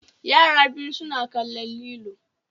Yara biyu suna kan lilo